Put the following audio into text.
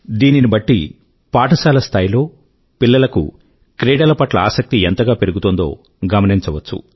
దీనిని బట్టి పాఠశాల స్థాయి లో పిల్లల కు క్రీడల పట్ల ఆసక్తి ఎంతగా పెరుగుతోందో గమనించవచ్చు